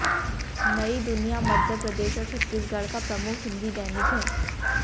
नई दुनिया मध्य प्रदेश और छतीसगढ़ का प्रमुख हिंदी दैनिक है